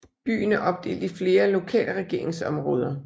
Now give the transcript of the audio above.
Byen er opdelt i flere lokalregeringsområder